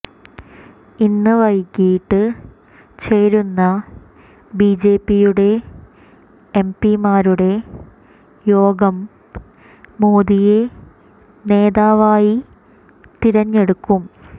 ഇന്ന് വൈകിട്ട് ചേരുന്ന ബി ജെ പിയുടെ എം പിമാരുടെ യോഗം മോദിയെ നേതാവായി തിരഞ്ഞെടുക്കും